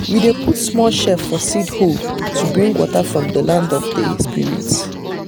we dey put snail shell for seed hole to bring water from the land of the spirit.